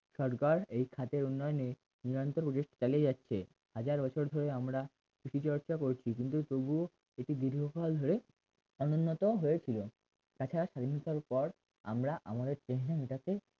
সরকার এই খাতের উন্নয়নে নিয়ন্ত্রণ দেশ চালিয়ে যাচ্ছে হাজার বছর ধরে আমরা কিন্তু তবুও কৃষিচর্চা করছি তবুও দীর্ঘকাল অনুন্নত হয়েছিল তাছা পর আমরা আমাদরে চিহ্ন মেটাতে